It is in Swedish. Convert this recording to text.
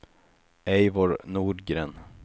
Eivor Nordgren